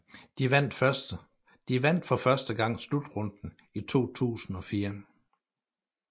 De vandt for første gang slutrunden i 2004